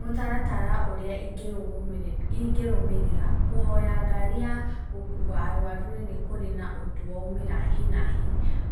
Mũtaratara ũrĩa ingĩrũmĩrĩra kũhoya ngari ya gũkua arũaru rĩrĩ kũrĩ na ũndũ wa ũmĩra hi na hi